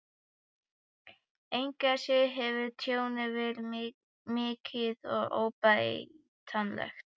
Engu að síður hefur tjónið verið mikið og óbætanlegt.